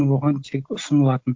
оған тек ұсынылатын